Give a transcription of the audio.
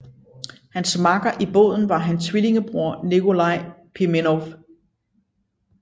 Hans makker i båden var hans tvillingebror Nikolaj Pimenov